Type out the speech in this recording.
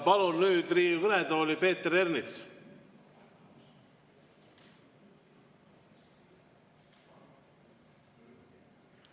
Palun nüüd Riigikogu kõnetooli Peeter Ernitsa.